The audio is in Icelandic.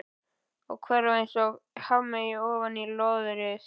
Hverfa einsog hafmeyja ofan í löðrið.